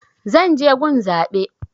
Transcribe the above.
Zan je gun zaɓe